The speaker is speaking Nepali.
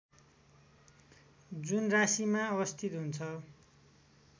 जुन राशीमा अवस्थित हुन्छ